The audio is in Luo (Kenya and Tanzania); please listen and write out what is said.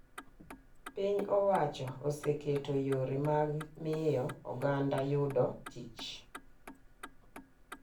Piny owacho oseketo yore mag miyo oganda yudo tich.